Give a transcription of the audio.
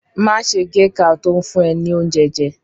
Má ṣe géka tó ń fún ẹ ní oúnjẹ jẹ.